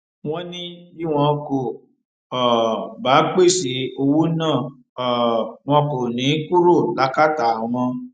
wọn ní bí wọn kò um bá pèsè owó náà um wọn kò ní í kúrò lákàtà àwọn